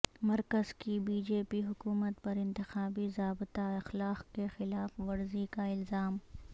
مرکز کی B J P حکومت پر انتخابی ضابطہ اخلاق کی خلاف ورزی کا الزام